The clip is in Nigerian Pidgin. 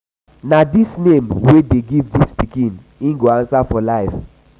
na dis name wey dey give dis pikin im go answer for life.